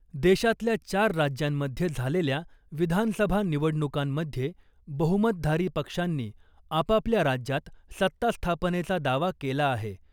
देशातल्या चार राज्यांमधे झालेल्या विधानसभा निवडणुकांमधे बहुमतधारी पक्षांनी आपापल्या राज्यात सत्तास्थापनेचा दावा केला आहे .